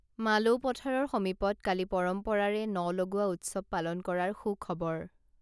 মালৌপথাৰৰ সমীপত কালি পৰম্পৰাৰে ন লগোৱা উৎসৱ পালন কৰাৰ সুখবৰ